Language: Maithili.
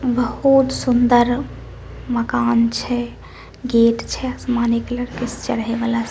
बहुत सुन्दर मकान छै गेट छै आसमानी कलर के चढ़े वाला--